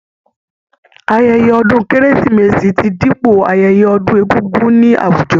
Ayẹyẹ ọdún kérésìmesì ti dípò ayẹyẹ ọdún egúngún ní àwùjọ.